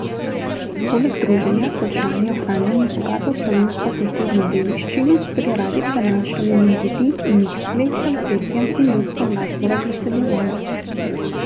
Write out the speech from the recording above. Poleg druženja so člani ohranjali bogato slovensko kulturno dediščino ter jo radi prenašali med ljudi in jih s plesom, petjem in ljudsko glasbo razveseljevali.